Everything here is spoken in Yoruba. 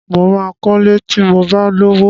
Mo máa kọlé ti mo bá lówó.